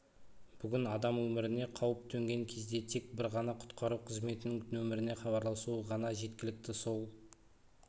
бүгін адам өміріне қауіп төнген кезде тек бір ғана құтқару қызметінің нөміріне хабарласуы ғана жеткілікті сол